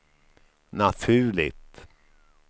naturligt